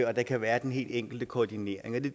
og der kan være den helt enkle koordinering det